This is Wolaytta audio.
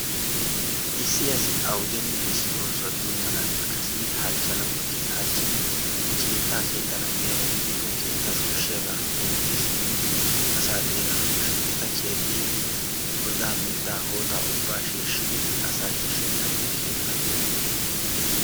issi asi awudenne issi oosuwa doommanappe kasettidi halchchana koshshees. halchchidi keettaa keexxana giyaaba gidikko keettassi koshshiyaaba kuntti simmidi asaa xeegana koshshees. ikka keexxidi godaa mittaa hootta ubbaa shiishshidi asaa shiishshees, yaanidi keettaa dommees